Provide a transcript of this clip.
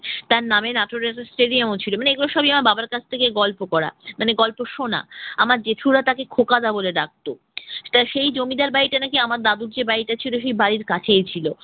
তার নামে নাটোরের স্টেডিয়ামও ছিল। মানে এগুলো সবই আমার বাবার কাছ থেকে বাবার কাছ থেকে গল্প করা মানে গল্প শোনা। আমার জেঠুরা তাকে খোকা দা বলে ডাকত। তা সেই জমিদার বাড়িতে নাকি আমার দাদুর যে বাড়িটা ছিল সেই বাড়ির কাছেই ছিল।